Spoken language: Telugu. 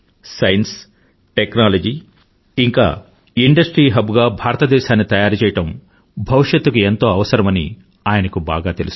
సైన్స్ టెక్నాలజీ ఇంకా ఇండస్ట్రీ హబ్ గా భారతదేశాన్ని తయారుచేయడం భవిష్యత్తుకి ఎంతో అవసరం అని ఆయన కు బాగా తెలుసు